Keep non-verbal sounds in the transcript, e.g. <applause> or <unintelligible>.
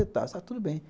<unintelligible> está tudo bem.